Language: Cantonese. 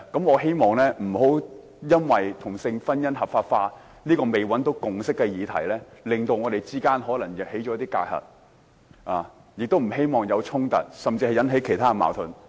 我希望不要因為同性婚姻合法化這個尚未取得共識的議題，導致我們產生一些隔閡，我也不希望出現衝突，甚至引起其他矛盾。